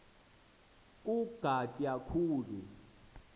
ku ugatya khulu